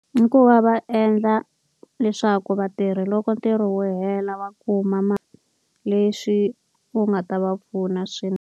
I ku va va endla leswaku vatirhi loko ntirho wu hela va kuma leswi wu nga ta va pfuna .